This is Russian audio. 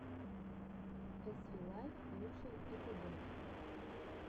эс ви лайф лучший эпизод